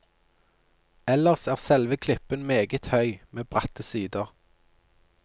Ellers er selve klippen meget høy, med bratte sider.